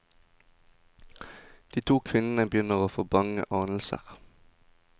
De to kvinnene begynner å få bange anelser.